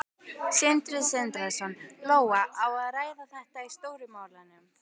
Sindri Sindrason: Lóa, á að ræða þetta í Stóru málunum?